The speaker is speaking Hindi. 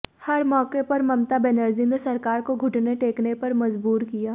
हर मौके पर ममता बनर्जी ने सरकार को घुटने टेकने पर मजबूर किया